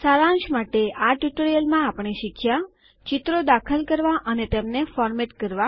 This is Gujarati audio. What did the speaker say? સારાંશ માટે આ ટ્યુટોરીયલ માં આપણે શીખ્યા ચિત્રો દાખલ કરવા અને તેમને ફોરમેટ કરવા